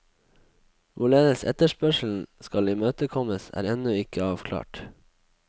Hvorledes eferspørgslen skal imødekommes er endnu ikke afklaret.